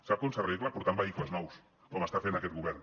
sap com s’arregla portant vehicles nous com està fent aquest govern